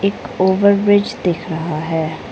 एक over bridge दिख रहा है।